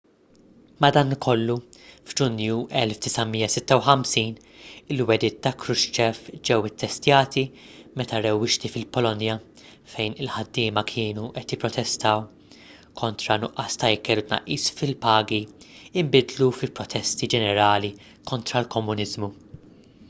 madankollu f’ġunju 1956 il-wegħdiet ta’ krushchev ġew ittestjati meta rewwixti fil-polonja fejn il-ħaddiema kienu qed jipprotestaw kontra nuqqas ta’ ikel u tnaqqis fi-pagi inbidlu fi protesti ġenerali kontra l-komuniżmu